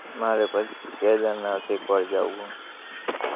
મારે પછી કેદારનાથ એકવાર જાવું હે